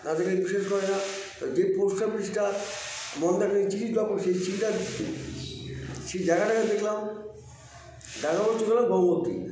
যে post office -টা মন্দাকিনী চিঠিটা drop করে সেই চিঠিটা সেই জায়গাটাকে দেখলাম দেখা হচ্ছিল গঙ্গোত্রী